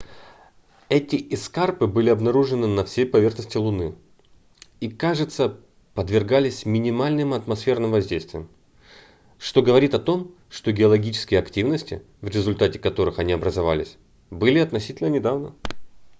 эти эскарпы были обнаружены на всей поверхности луны и кажется подвергались минимальным атмосферным воздействиям что говорит о том что геологические активности в результате которых они образовались были относительно недавно